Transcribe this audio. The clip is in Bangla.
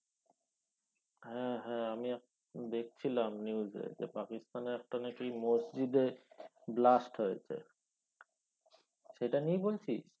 হ্যাঁ হ্যাঁ আমি আপ~ দেখছিলাম news এ যে পাকিস্তানে একটা না কি মসজিদে blast হয়েছে সেটা নিয়ে বলছিস?